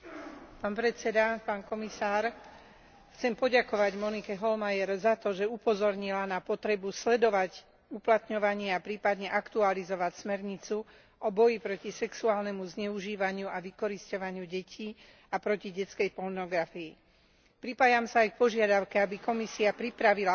Chcem poďakovať Monike Hohlmeier za to, že upozornila na potrebu sledovať uplatňovanie a prípadne aktualizovať smernicu o boji proti sexuálnemu zneužívaniu a vykorisťovaniu detí a proti detskej pornografii. Pripájam sa aj k požiadavke, aby Komisia pripravila osvetovú kampaň, ktorá by deťom umožnila